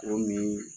Cogo min